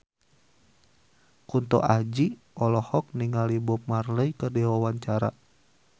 Kunto Aji olohok ningali Bob Marley keur diwawancara